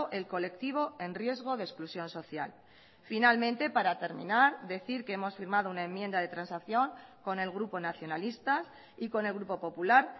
el colectivo en riesgo de exclusión social finalmente para terminar decir que hemos firmado una enmienda de transacción con el grupo nacionalista y con el grupo popular